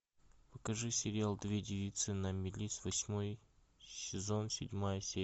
покажи сериал две девицы на мели с восьмой сезон седьмая серия